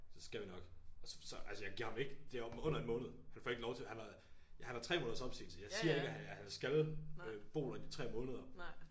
Det skal vi nok altså og så så jeg giver ham ikke det er om under en måned han får ikke lov til han var han har 3 måneders opsigelse jeg siger ikke at at han skal øh bo der i de 3 måneder